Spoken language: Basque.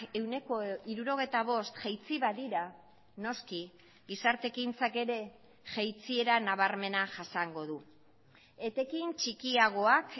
ehuneko hirurogeita bost jaitsi badira noski gizarte ekintzak ere jaitsiera nabarmena jasango du etekin txikiagoak